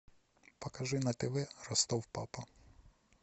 покажи на тв ростов папа